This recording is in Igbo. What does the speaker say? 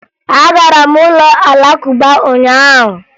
Agara m ụlọ Alakụba ụnyaahụ